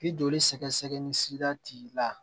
Ni joli sɛgɛ sɛgɛ ni sira t'i la